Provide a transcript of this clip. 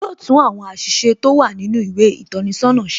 Yo tún àwọn àṣìṣe tó wà nínú ìwé ìtọ́ni sọ́nà ṣe.